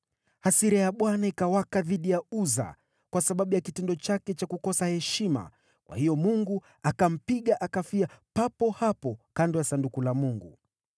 Hasira ya Bwana ikawaka dhidi ya Uza kwa sababu ya kitendo chake cha kukosa heshima, kwa hiyo Mungu akampiga akafia papo hapo kando ya Sanduku la Mungu.